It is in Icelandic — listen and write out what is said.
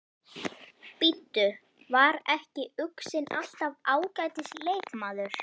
Bíddu, var ekki Uxinn alltaf ágætis leikmaður?